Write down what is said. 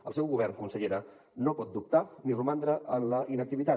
el seu govern consellera no pot dubtar ni romandre en la inactivitat